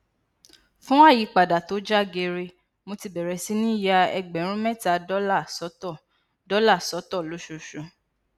fún ayipada tó ja geere mo ti bẹrẹ sí ní ya ẹgbẹrún mẹta dollar sọtọ dollar sọtọ lóṣooṣù